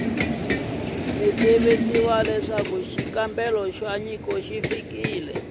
tivisiwa leswaku xikombelo xa nyiko